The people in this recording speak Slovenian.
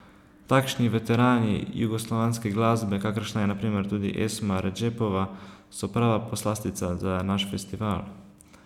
Takšni veterani jugoslovanske glasbe, kakršna je na primer tudi Esma Redžepova, so prava poslastica za naš festival.